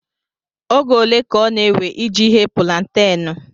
Oge ole ka ọ na-ewe iji ghee púlanténú